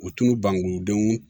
U tulu bangebaaw denw